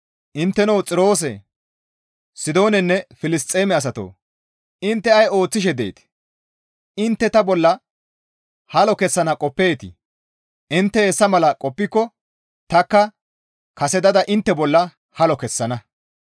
Intteno Xiroose, Sidoonanne Filisxeeme asatoo! Intte ay ooththishe deetii? Intte ta bolla halo kessana qoppeetii? Intte hessa mala qoppiko tanikka kasetada intte bolla halo kessana.